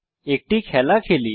একটি খেলা খেলি